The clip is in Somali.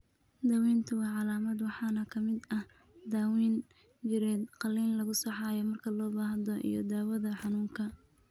Daaweyntu waa calaamad waxaana ka mid ah daawayn jireed, qalliin lagu saxayo (marka loo baahdo) iyo daawada xanuunka.